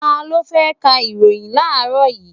Ta ló fẹ́ ka ìròhìn láàrọ́ yìí?